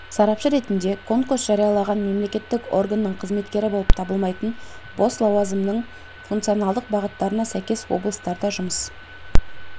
сарапшы ретінде конкурс жариялаған мемлекеттік органның қызметкері болып табылмайтын бос лауазымның функционалдық бағыттарына сәйкес облыстарда жұмыс